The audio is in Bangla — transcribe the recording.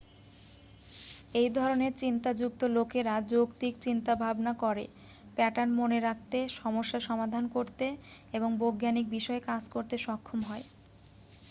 এই ধরণের চিন্তাযুক্ত লোকেরা যৌক্তিক চিন্তাভাবনা করে প্যাটার্ন মনে রাখতে সমস্যা সমাধান করতে এবং বৈজ্ঞানিক বিষয়ে কাজ করতে সক্ষম হয়